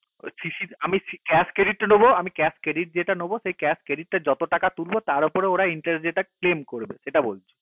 ওই CC র আমি cash credit টা নেবো আমি cash credit যেটা নেবো সেই cash credit টার যত টাকা তুলবো তার ওপরে ওরা interest যেটা claim করবে সেটা বলছি